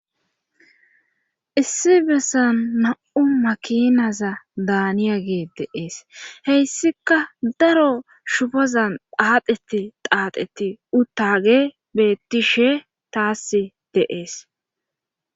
Issi bessan na'u makinaza daaniya gee deees heyssika daro shufazan phaadeti qaaxeti uttage bettishe taassi deees.